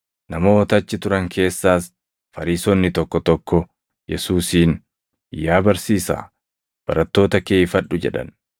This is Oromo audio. Namoota achi turan keessaas Fariisonni tokko tokko Yesuusiin, “Yaa Barsiisaa, barattoota kee ifadhu!” jedhan.